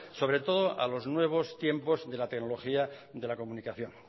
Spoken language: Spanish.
sobre todo a los nuevos tiempos de la tecnología de la comunicación